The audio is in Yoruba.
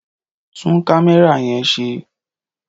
Tún kámẹ́rà yẹn ṣe!